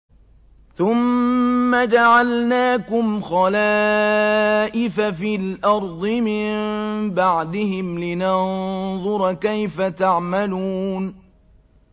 ثُمَّ جَعَلْنَاكُمْ خَلَائِفَ فِي الْأَرْضِ مِن بَعْدِهِمْ لِنَنظُرَ كَيْفَ تَعْمَلُونَ